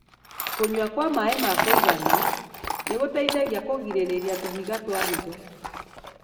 Kũnyua kwa maĩ ma kũigana nĩ gũteithagia kũgirĩrĩria tũhiga twa higo.